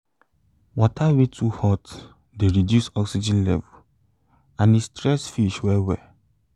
water wey too hot de reduce oxygen level and e stress fish well well